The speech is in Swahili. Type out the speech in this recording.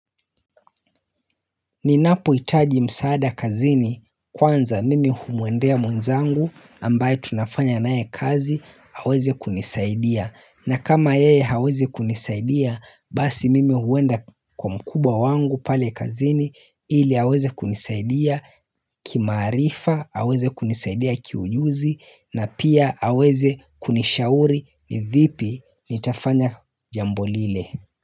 Ninapo hitaji msaada kazini kwanza mimi humwendea mwenzangu ambaye tunafanya naye kazi aweze kunisaidia na kama yeye hawezi kunisaidia basi mimi huenda kwa mkubwa wangu pale kazini ili aweze kunisaidia kimaarifa aweze kunisaidia kiujuzi na pia aweze kunishauri ni vipi nitafanya jambo lile.